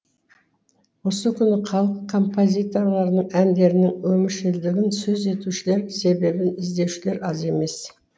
осы күні халық композиторларының әндерінің өміршеңдігін сөз етушілер себебін іздеушілер аз емес